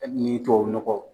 Hali n'i y'i tubabu nɔgɔ